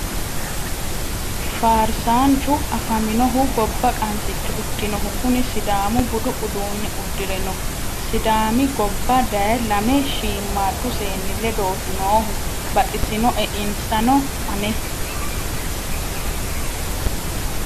Faarsanuchu afaminohu gobba qansicho ikkinohu kuni sidaamu budu uduune uddire no sidaami gobba daye lame shiimadu seenni ledoti noohu baxisinoe insano ane.